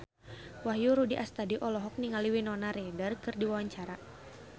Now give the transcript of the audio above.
Wahyu Rudi Astadi olohok ningali Winona Ryder keur diwawancara